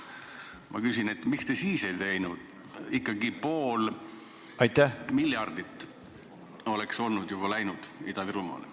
Ma küsin, miks te siis seda ei teinud, ikkagi pool miljardit oleks juba Ida-Virumaale läinud.